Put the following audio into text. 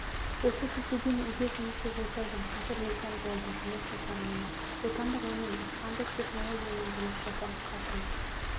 осы кезге дейін үйде жұмыссыз отырдым қазір екі ай болды жұмыс жасағаныма отандық өнім испандық технологиямен жұмыс жасап жатырмыз